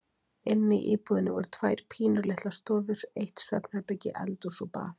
Inni í íbúðinni voru tvær pínulitlar stofur, eitt svefnherbergi, eldhús og bað.